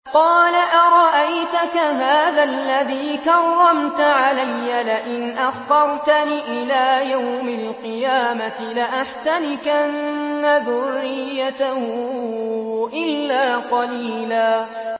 قَالَ أَرَأَيْتَكَ هَٰذَا الَّذِي كَرَّمْتَ عَلَيَّ لَئِنْ أَخَّرْتَنِ إِلَىٰ يَوْمِ الْقِيَامَةِ لَأَحْتَنِكَنَّ ذُرِّيَّتَهُ إِلَّا قَلِيلًا